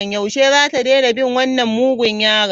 Yaushe zata daina bin wannan mugun yaron?